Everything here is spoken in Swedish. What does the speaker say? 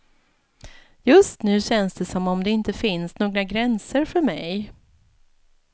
Just nu känns det som om det inte finns några gränser för mig.